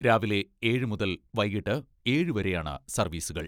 രാവിലെ ഏഴ് മുതൽ വൈകിട്ട് ഏഴ് വരെയാണ് സർവ്വീസുകൾ.